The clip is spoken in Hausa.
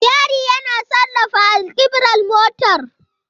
Sitiyari yana sarrafa alkiblar motar.